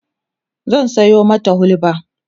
zan Sayo mata hulba